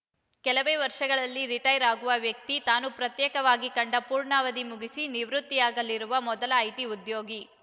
ಕೆಲವೇ ವರ್ಷಗಳಲ್ಲಿ ರಿಟಾಯರ್‌ ಆಗುವ ವ್ಯಕ್ತಿ ತಾನು ಪ್ರತ್ಯಕ್ಷವಾಗಿ ಕಂಡ ಪೂರ್ಣಾವಧಿ ಮುಗಿಸಿ ನಿವೃತ್ತಿಯಾಗಲಿರುವ ಮೊದಲ ಐಟಿ ಉದ್ಯೋಗಿ